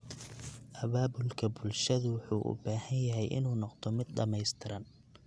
Abaabulka bulshadu wuxuu u baahan yahay inuu noqdo mid dhamaystiran.